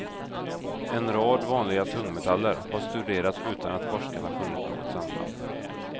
En rad vanliga tungmetaller har studerats utan att forskarna funnit något samband.